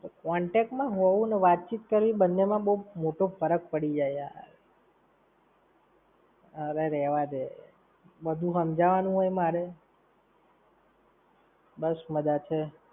contact માં હોવું અને વાત-ચિત કરવી બંને માં બવ મોટો ફરક પડી જાય યાર. અરે રહેવા દે. બધું હમજાવાનું હોય મારે? બસ મજા છે.